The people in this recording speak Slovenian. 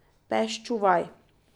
Pes čuvaj.